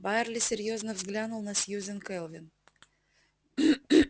байерли серьёзно взглянул на сьюзен кэлвин